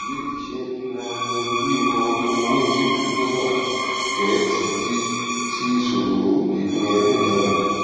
ìbéèrè ṣé nanoleo máa fúnni ní ojútùú tó wà pé títí sí ìṣòro ìkóraẹniníjàánu